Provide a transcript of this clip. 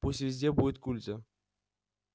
пусть везде будет культя